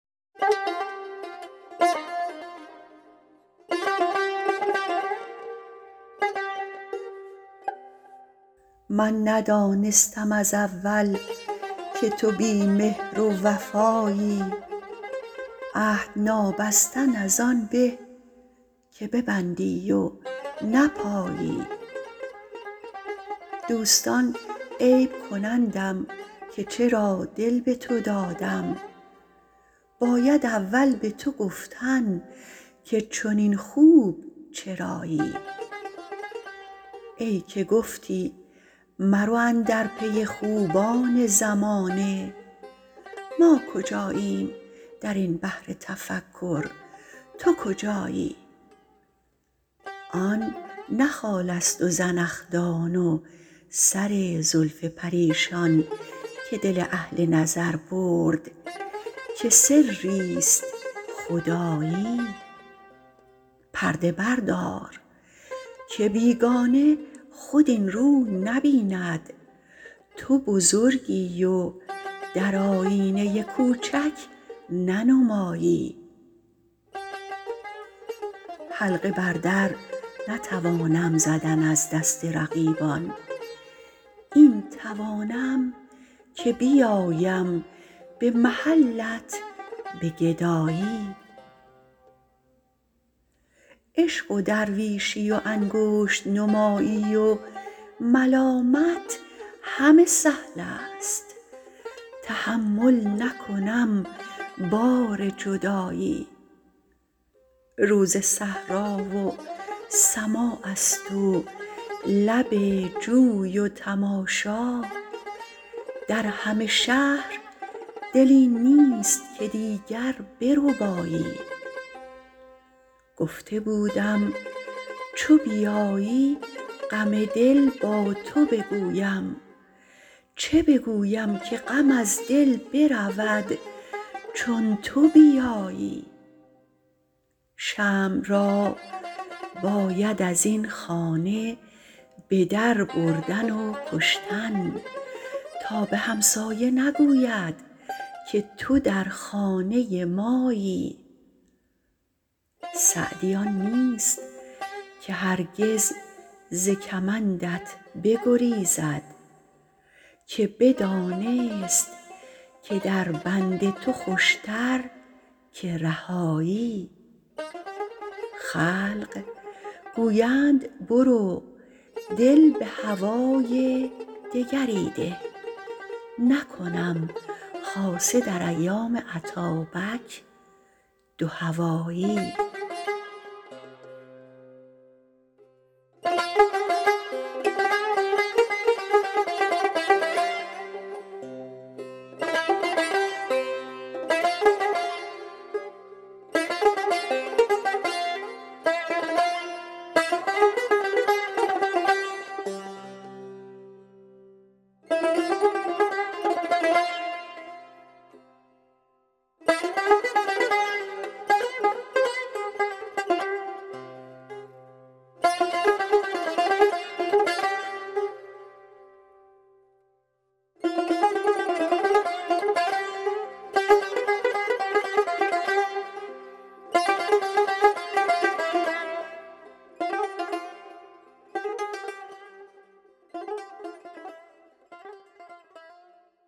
من ندانستم از اول که تو بی مهر و وفایی عهد نابستن از آن به که ببندی و نپایی دوستان عیب کنندم که چرا دل به تو دادم باید اول به تو گفتن که چنین خوب چرایی ای که گفتی مرو اندر پی خوبان زمانه ما کجاییم در این بحر تفکر تو کجایی آن نه خالست و زنخدان و سر زلف پریشان که دل اهل نظر برد که سریست خدایی پرده بردار که بیگانه خود این روی نبیند تو بزرگی و در آیینه کوچک ننمایی حلقه بر در نتوانم زدن از دست رقیبان این توانم که بیایم به محلت به گدایی عشق و درویشی و انگشت نمایی و ملامت همه سهلست تحمل نکنم بار جدایی روز صحرا و سماعست و لب جوی و تماشا در همه شهر دلی نیست که دیگر بربایی گفته بودم چو بیایی غم دل با تو بگویم چه بگویم که غم از دل برود چون تو بیایی شمع را باید از این خانه به در بردن و کشتن تا به همسایه نگوید که تو در خانه مایی سعدی آن نیست که هرگز ز کمندت بگریزد که بدانست که در بند تو خوشتر که رهایی خلق گویند برو دل به هوای دگری ده نکنم خاصه در ایام اتابک دوهوایی